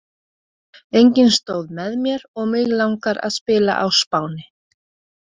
Enginn stóð með mér og mig langar að spila á Spáni.